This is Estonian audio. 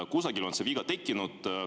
Kusagil on viga tekkinud.